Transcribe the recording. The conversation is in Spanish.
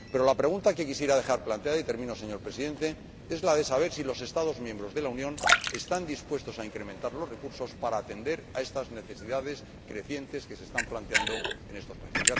Pero la pregunta que quiero dejar planteada y termino, señor Presidente es la de saber si los Estados miembros de la Unión están dispuestos a incrementar los recursos para atender a estas necesidades crecientes que se están planteando en estos países.